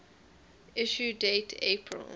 issue date april